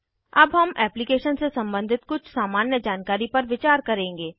अब हम एप्लीकेशन से सम्बंधित कुछ सामान्य जानकारी पर विचार करेंगे